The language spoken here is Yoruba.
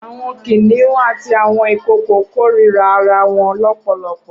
Awọn kiniùn àtí awọn ikookó kórirá àráwọ̀n lọpọlọpọ